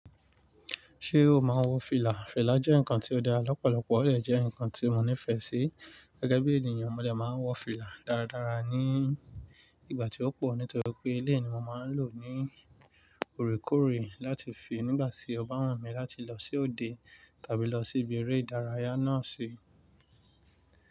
Ṣé o máa wo fílà? Fílà jẹ́ ǹkan tí ó dá lọ́pọ̀lọpọ̀, ó jẹ́ ǹkan tí mo nífẹ̀ẹ́ sí. Gẹ́gẹ́ bí ènìyàn, mo dè máa wọ fílà dáradára ní ìgbà tí ó pọ̀ nítorí pé eleyii ni mo máa ń lò ó ní òrékòrè láti fi nígbà tí o ba wu mi láti lọ sí òde tàbí lọ sí ibi eré ìdárayá náà sí.